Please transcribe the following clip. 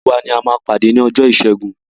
Gbogbo wa ni a máa pàdé ni ọjọ́ ìṣẹ́gun.